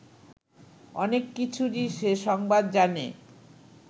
অনেক কিছুরই সে সংবাদ জানে